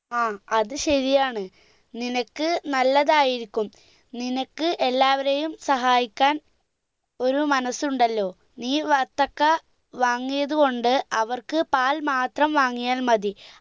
ആ അത് ശരിയാണ് നിനക്ക് നല്ലതായിരിക്കും നിനക്ക് എല്ലാവരെയുംസഹായിക്കാൻ ഒരു മനസ്സുണ്ടല്ലോ നീ വത്തക്ക വാങ്ങിയത് കൊണ്ട് അവർക്ക് പാൽ മാത്രം വാങ്ങിയാൽ മതി